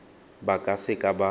ba ka se ka ba